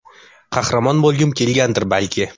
Qahramon bo‘lgim kelgandir, balki.